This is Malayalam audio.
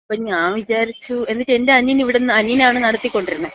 അപ്പോ ഞാൻ വിചാരിച്ച്... എന്നിട്ട് എന്‍റെ അനിയൻ ഇവിടുന്ന്, അനിയനാണ് നടത്തിക്കൊണ്ടിരുന്നെ.